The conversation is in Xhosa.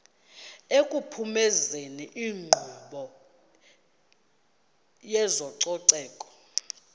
ekuphumezeni inkqubo yezococeko